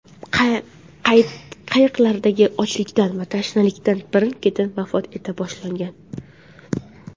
Qayiqdagilar ochlikdan va tashnalikdan birin-ketin vafot eta boshlagan.